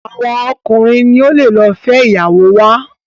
awọn ọkunrin ni o ló fé ìyàwó wa.